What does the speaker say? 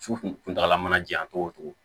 Su kuntagala mana janya cogo o cogo